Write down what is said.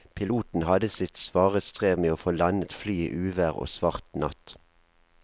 Piloten hadde sitt svare strev med å få landet flyet i uvær og svart natt.